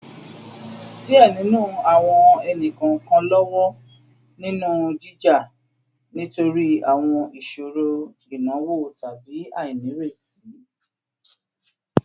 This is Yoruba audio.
Diẹ ninu awọn ẹni-kọọkan lọwọ ninu jija nitori awọn iṣoro inawo tabi ainireti